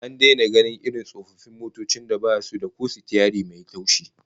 An daina gainin irin tsofaffin motocin da basu da ko sitiyari mai taushi